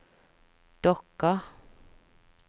Dokka